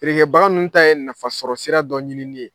feerekɛbaga ninnu ta ye nafasɔrɔsira dɔ ɲinini ye.